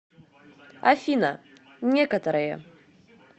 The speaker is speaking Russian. афина некоторое